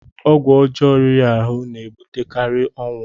ọgwụ ọjọọ riri ahụ na-ebutekarị ọnwụ